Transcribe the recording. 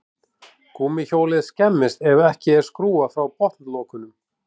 Gúmmíhjólið skemmist ef ekki er skrúfað frá botnlokunum.